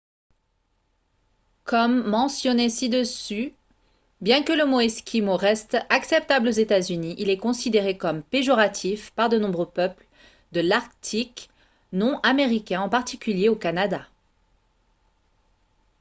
comme mentionné ci-dessus bien que le mot « esquimau » reste acceptable aux états-unis il est considéré comme péjoratif par de nombreux peuples de l’arctique non américains en particulier au canada